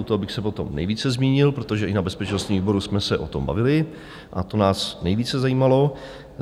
U toho bych se potom nejvíce zmínil, protože i na bezpečnostním výboru jsme se o tom bavili a to nás nejvíce zajímalo.